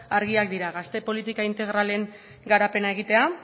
argia dira gazte politika integralen garapena egitea